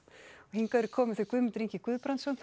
hingað eru komin þau Guðmundur Ingi Guðbrandsson